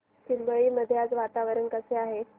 चिंबळी मध्ये आज वातावरण कसे आहे